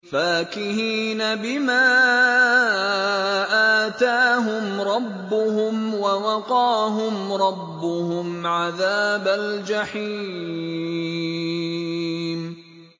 فَاكِهِينَ بِمَا آتَاهُمْ رَبُّهُمْ وَوَقَاهُمْ رَبُّهُمْ عَذَابَ الْجَحِيمِ